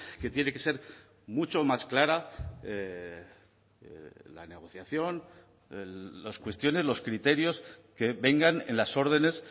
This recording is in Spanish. que tiene que ser mucho más clara la negociación las cuestiones los criterios que vengan en las órdenes